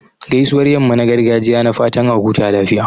Gaisuwar yamman gargajiya na fatan a huta lafiya.